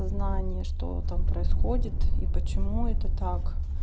знание что там происходит и почему это так